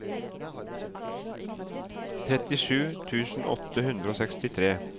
trettisju tusen åtte hundre og sekstitre